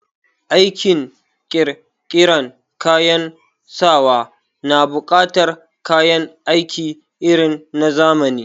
Aikin ƙirƙiran kayan sawa na buƙatar kayan aiki irin na zamani